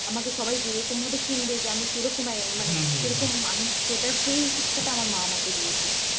য়ামাকে সবাই যেরকম ভাবে চিনবে যে আমি কিরকম মানে আমি কিরকম মানুষ সেটা সেই শিক্ষাটা আমার মা আমাকে দিয়েছে।